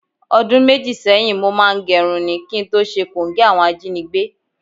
O̩dún méjì sé̩yìn, mo máa ń ge̩run káàkiri ni, kí n tó s̩e kòńgé̩ àwo̩n ajínigbé